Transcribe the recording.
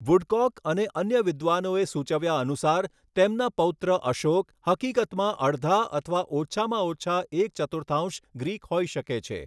Woodcock અને અન્ય વિદ્વાનોએ સૂચવ્યા અનુસાર, તેમના પૌત્ર અશોક હકીકતમાં અડધા અથવા ઓછામાં ઓછા એક ચતુર્થાંશ ગ્રીક હોઈ શકે છે.